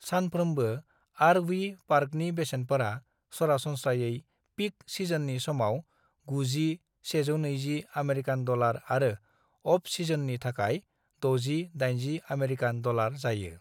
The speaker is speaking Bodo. सानफ्रोमबो आर.वी. पार्कनि बेसेनफोरा सरासनस्रायै पीक सिजननि समाव 90-120 आमेरिकान डलार आरो अफ-सिजननि थाखाय 60-80 आमेरिकान डलार जायो।